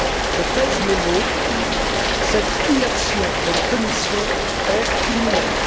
Je pèse mes mots, cette inaction de la Commission est criminelle.